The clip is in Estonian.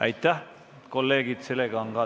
Aitäh, kolleegid!